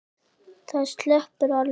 Það sleppur alveg.